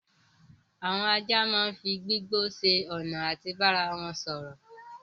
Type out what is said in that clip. Àwọn ajá máa n fí gbígbó ṣe ọna àti bá ara wọn sọrọ